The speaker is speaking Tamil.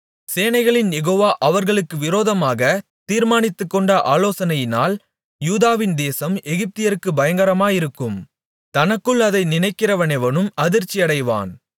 சேனைகளின் யெகோவா அவர்களுக்கு விரோதமாக தீர்மானித்துக்கொண்ட ஆலோசனையினால் யூதாவின் தேசம் எகிப்தியருக்குப் பயங்கரமாயிருக்கும் தனக்குள் அதை நினைக்கிறவனெவனும் அதிர்ச்சியடைவான்